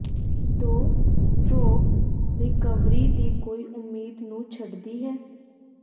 ਦੋ stroke recovery ਦੀ ਕੋਈ ਉਮੀਦ ਨੂੰ ਛੱਡਦੀ ਹੈ